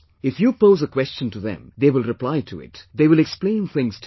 If you pose a question to them, they will reply to it; they will explain things to you